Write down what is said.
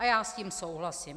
A já s tím souhlasím.